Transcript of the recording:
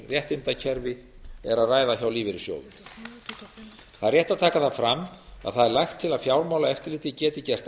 réttindakerfi er að ræða hjá lífeyrissjóðum það er rétt að taka það fram að það er lagt til að fjármálaeftirlitið geti gert